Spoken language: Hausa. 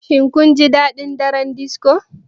Shin kun ji daɗin daren disco?